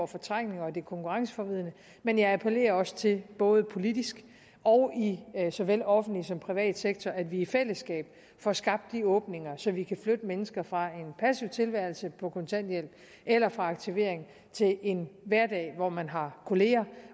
fortrængninger og det konkurrenceforvridende men jeg appellerer også til både politisk og i såvel offentlig som privat sektor at vi i fællesskab får skabt de åbninger så vi kan flytte mennesker fra en passiv tilværelse på kontanthjælp eller fra aktivering til en hverdag hvor man har kollegaer